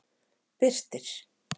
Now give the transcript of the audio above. Birtir